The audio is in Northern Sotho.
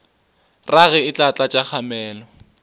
rage e tla tlatša kgamelo